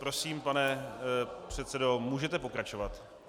Prosím, pane předsedo, můžete pokračovat.